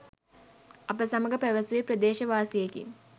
අප සමඟ පැවසුවේ ප්‍රදේශවාසියෙකි.